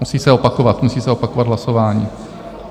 Musí se opakovat, musí se opakovat hlasování.